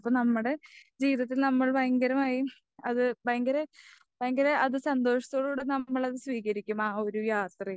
അപ്പൊ നമ്മുടെ ജീവിതത്തിൽ നമ്മൾ ഭയങ്കരമായും അത് ഭയങ്കര ഭയങ്കര അത് സന്തോഷത്തോടുകൂടെ നമ്മളത് സ്വീകരിക്കും.ആ ഒരു യാത്രയും.